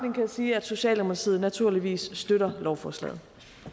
jeg sige at socialdemokratiet naturligvis støtter lovforslaget